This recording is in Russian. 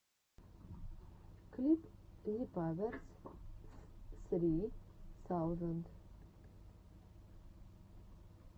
клип зепаверс ссри саузенд